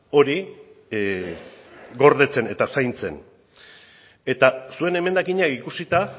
hori gordetzen eta zaintzen eta zuen emendakinak ikusita